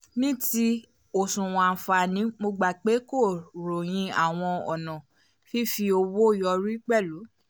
ní ti oṣuwọn àǹfààní mo gbà pé kó ròyìn àwọn ònà fífi owó yọrí pẹ̀lú